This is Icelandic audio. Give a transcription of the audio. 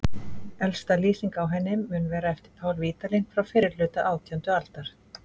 Elsta lýsing á henni mun vera eftir Pál Vídalín frá fyrri hluta átjándu aldar.